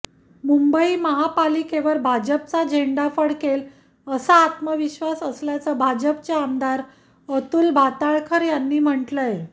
मुंबई महापालिकेवर भाजपचा झेंडा फडकेल असा आत्मविश्वास असल्याचं भाजपचे आमदार अतुल भातखळकर यांनी म्हटलंय